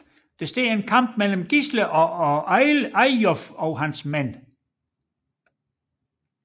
Der står en kamp mellem Gisle og Eyjolf og hans mænd